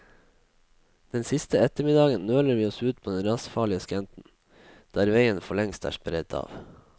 Den siste ettermiddagen nøler vi oss ut på den rasfarlige skrenten, der veien forlengst er sperret av.